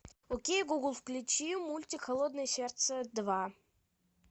окей гугл включи мультик холодное сердце два